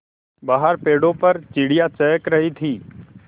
बाहर पेड़ों पर चिड़ियाँ चहक रही थीं